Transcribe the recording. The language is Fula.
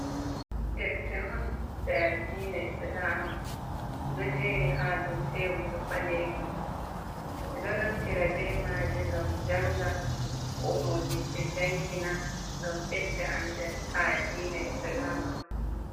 Defte on je addina isalama ,dojeri ha dou tebul balejum e do naftira be maje gam janga ko modibbe jangina gam bedda andal ha addina isalama.